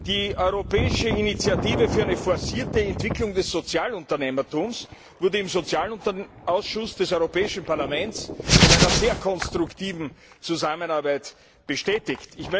Die europäische Initiative für eine forcierte Entwicklung des Sozialunternehmertums wurde im Sozialausschuss des Europäischen Parlaments in einer sehr konstruktiven Zusammenarbeit bestätigt.